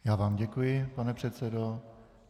Já vám děkuji, pane předsedo.